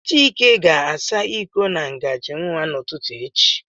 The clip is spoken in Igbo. Chike ga-asa iko na ngajị nwa n'ụtụtụ echi